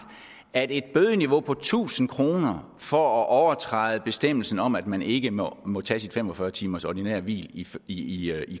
at et bødeniveau på tusind kroner for at overtræde bestemmelsen om at man ikke må må tage sit fem og fyrre timers ordinære hvil i i